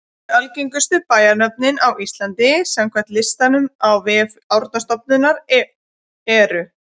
Tíu algengustu bæjarnöfnin á Íslandi samkvæmt listanum á vef Árnastofnunar eru: